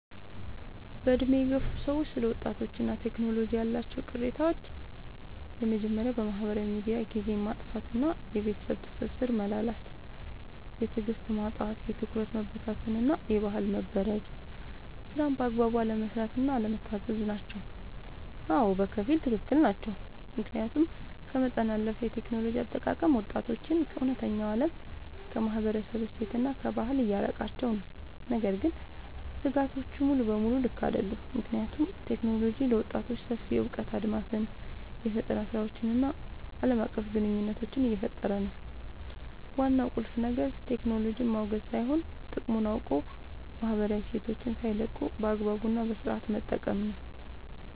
በዕድሜ የገፉ ሰዎች ስለ ወጣቶችና ቴክኖሎጂ ያላቸው ቅሬታዎች የመጀመርያው በማህበራዊ ሚዲያ ጊዜን ማጥፋት እና የቤተሰብ ትስስር መላላት። የትዕግስት ማጣት፣ የትኩረት መበታተን እና የባህል መበረዝ። ስራን በአግባቡ አለመስራት እና አለመታዘዝ ናቸው። አዎ፣ በከፊል ትክክል ናቸው። ምክንያቱም ከመጠን ያለፈ የቴክኖሎጂ አጠቃቀም ወጣቶችን ከእውነተኛው ዓለም፣ ከማህበረሰብ እሴትና ከባህል እያራቃቸው ነው። ነገር ግን ስጋቶቹ ሙሉ በሙሉ ልክ አይደሉም፤ ምክንያቱም ቴክኖሎጂ ለወጣቶች ሰፊ የእውቀት አድማስን፣ የፈጠራ ስራዎችን እና ዓለም አቀፍ ግንኙነት እየፈጠረ ነው። ዋናው ቁልፍ ነገር ቴክኖሎጂን ማውገዝ ሳይሆን፣ ጥቅሙን አውቆ ማህበራዊ እሴትን ሳይለቁ በአግባቡ እና በስነሥርዓት መጠቀም ነው።